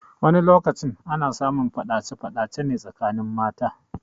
Wani lokaci ana samun faɗace faɗace ne tsakanin mata.